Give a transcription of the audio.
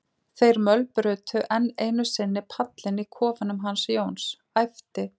þeir mölbrutu enn einu sinni pallinn í kofanum hans Jóns, æpti